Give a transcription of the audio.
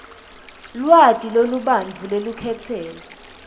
lwati lolubanti lwelukhetselo